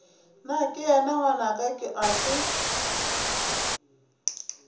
nakeyena ke ngwanaka ga se